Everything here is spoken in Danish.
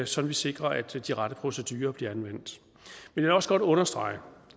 så vi sikrer at de rette procedurer bliver anvendt jeg vil også godt understrege